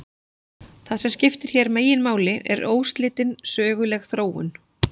Það sem skiptir hér meginmáli er óslitin söguleg þróun.